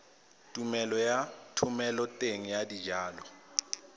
tumelelo ya thomeloteng ya dijalo